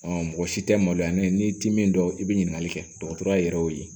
mɔgɔ si tɛ maloya ne ye n'i ti min dɔn i bi ɲininkali kɛ dɔgɔtɔrɔya yɛrɛ y'o ye